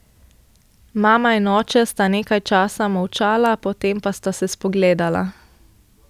Mama in oče sta nekaj časa molčala, potem pa sta se spogledala.